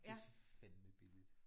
Det er fandme billigt